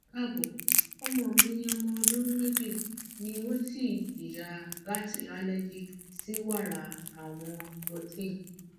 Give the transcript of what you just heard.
kaabo ọmọ mi ọmọ ọdun meji ni o si jiya lati allergy si wara awọn protein